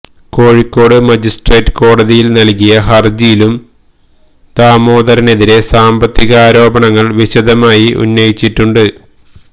Kozhikode magistrate കോടതിയിൽ നൽകിയ ഹർജിയിലും ദാമോദരനെതിരെ സാമ്പത്തികാരോപണങ്ങൾ വിശദമായി ഉന്നയിച്ചിട്ടുണ്ട്